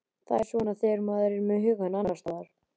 Það er svona þegar maður er með hugann annars staðar.